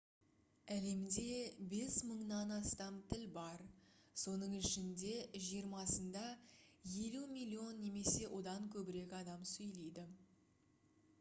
әлемде 5000-нан астам тіл бар соның ішінде жиырмасында 50 миллион немесе одан көбірек адам сөйлейді